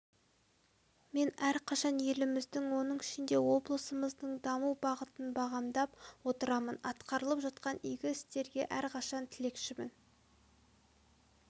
мен әрқашан еліміздің оның ішінде облысымыздың даму бағытын бағамдап отырамын атқарылып жатқан игі істерге әрқашан тілекшімін